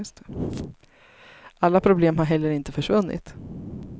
Alla problem har heller inte försvunnit.